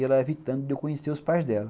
E ela evitando de eu conhecer os pais dela.